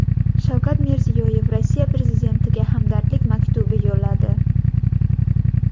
Shavkat Mirziyoyev Rossiya prezidentiga hamdardlik maktubi yo‘lladi.